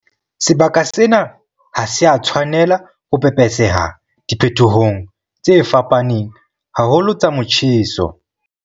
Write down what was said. Sebaka sena ha se a tshwanela ho pepeseha diphetohong tse fapaneng haholo tsa motjheso.